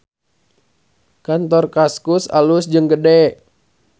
Kantor Kaskus alus jeung gede